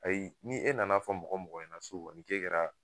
Ayi ni e nana fɔ mɔgɔ mɔgɔ ɲɛna so kɔni k'e kɛra